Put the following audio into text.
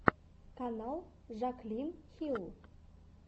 канал жаклин хилл